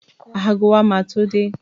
Ago wa ma tó dé